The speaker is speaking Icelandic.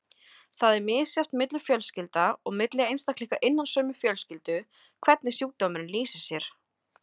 Það er misjafnt milli fjölskylda og milli einstaklinga innan sömu fjölskyldu hvernig sjúkdómurinn lýsir sér.